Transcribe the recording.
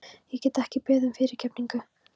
Ég get ekki beðið um fyrirgefningu.